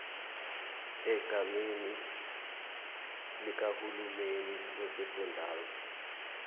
egameni likahulumeni wesifundazwe